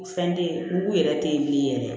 Fɛn tɛ ye mugu yɛrɛ tɛ ye bilen yɛrɛ